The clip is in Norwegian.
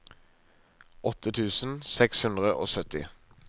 åtte tusen seks hundre og sytti